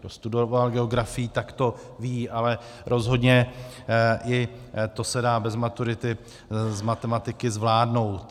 Kdo studoval geografii, tak to ví, ale rozhodně i to se dá bez maturity z matematiky zvládnout.